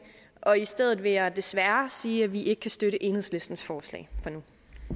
og i stedet vil jeg desværre sige at vi ikke kan støtte enhedslistens forslag for nu